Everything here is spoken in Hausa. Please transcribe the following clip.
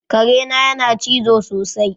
Kare na yana cizo sosai